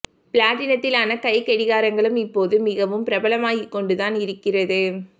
பிளாட்டினத்தினாலான கைக்கடிகாரங்களும் இப்போது மிகவும் பிரபலமாகிக் கொண்டு தான் இருக்கிறது